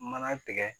Mana tigɛ